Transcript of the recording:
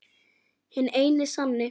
Hinn eini sanni!